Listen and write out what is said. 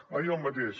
va dir el mateix